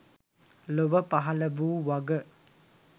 ලොව පහළ වූ වග